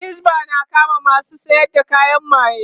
Yan hisba na kama masu sayar da kayan maye